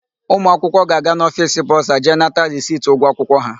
Ụmụakwụkwọ ga-aga n'ofiisi bọsa jee nata risiti ụgwọ akwụkwọ ha.